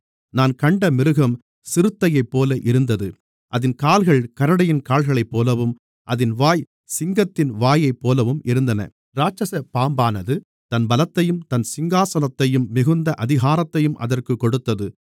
நான் கண்ட மிருகம் சிறுத்தையைப்போல இருந்தது அதின் கால்கள் கரடியின் கால்களைப்போலவும் அதின் வாய் சிங்கத்தின் வாயைப்போலவும் இருந்தன இராட்சசப் பாம்பானது தன் பலத்தையும் தன் சிங்காசனத்தையும் மிகுந்த அதிகாரத்தையும் அதற்குக் கொடுத்தது